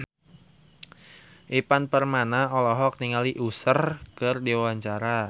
Ivan Permana olohok ningali Usher keur diwawancara